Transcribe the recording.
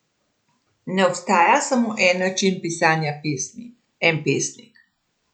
Ne obstaja samo en način pisanja pesmi, en pesnik.